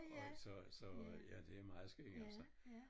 Og så så ja det meget skægt altså